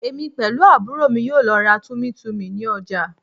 Èmi pẹ̀lú àbúrò mi yóò lọ ra Tummy tummy ní ọjà